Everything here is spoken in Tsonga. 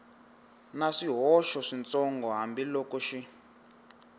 na swihoxo switsongo hambiloko xi